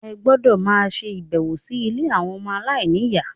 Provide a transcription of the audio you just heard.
Ẹ gbọ́dọ̀ máa ṣe ìbẹ̀wò sí ilé àwọn ọmọ aláìníyà.